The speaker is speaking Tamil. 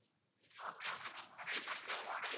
okay okay ma'am நிறைய burger model